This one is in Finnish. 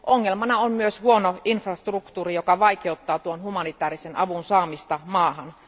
Ongelmana on myös huono infrastruktuuri, joka vaikeuttaa tuon humanitaarisen avun saamista maahan.